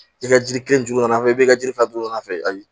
I ka jiri kelen juguman fɛ i bɛ ka jiri fɛn don an fɛ